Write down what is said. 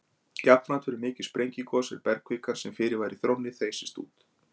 Jafnframt verður mikið sprengigos er bergkvikan, sem fyrir var í þrónni, þeysist út.